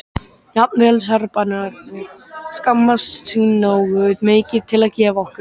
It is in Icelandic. Jafnvel Serbarnir skammast sín nógu mikið til að gefa okkur